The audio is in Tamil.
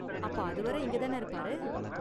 அப்போ அதுவரை இங்க தான இருப்பாரு?